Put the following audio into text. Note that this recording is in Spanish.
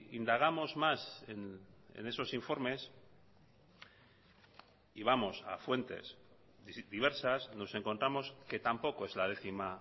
indagamos más en esos informes y vamos a fuentes diversas nos encontramos que tampoco es la décima